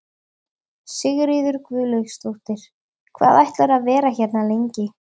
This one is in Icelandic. Sigríður Guðlaugsdóttir: Hvað ætlarðu að vera hérna lengi?